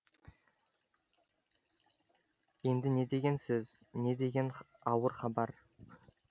енді не деген сөз не деген ауыр хабар